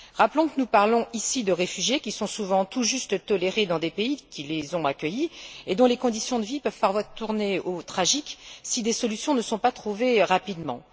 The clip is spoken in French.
Rappelons que nous parlons ici de réfugiés qui sont souvent tout juste tolérés dans les pays qui les ont accueillis et dont les conditions de vie peuvent parfois tourner au tragique si des solutions ne sont pas trouvées rapidement.